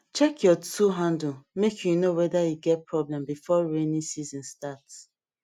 check your tool handle make you know whether e get problem before rainy season start